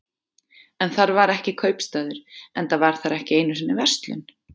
En þar var ekki kaupstaður, enda var þar ekki einu sinni verslun.